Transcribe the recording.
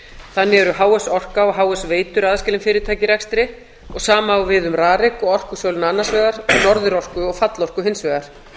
þannig eru h s orka og h s veitur aðskilin fyrirtæki í rekstri og sama á við um rarik og orkusöluna annars vegar norðurorku og fallorku hins vegar